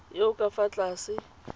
yo o ka fa tlase